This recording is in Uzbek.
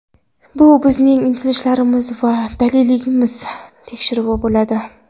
Bu bizning intilishlarimiz va dadilligimiz tekshiruvi bo‘ladi.